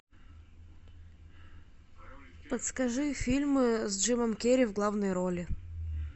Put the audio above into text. подскажи фильмы с джимом керри в главной роли